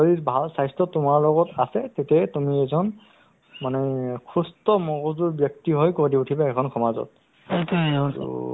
সেইটো ধুনীয়া যে দুখীয়াসকলৰ কাৰণে ভাল কৰিছে নহয় জানো যাৰ ration card আছে ration card টো প্ৰায় দুখীয়াসকলৰে আছে to চবৰে আয়ুসমান হ'ব ভাল পদক্ষেপ